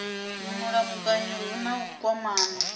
mulamukanyi hu na u kwamana